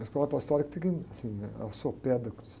Na escola pastoral, fica assim, ao sopé da cruz.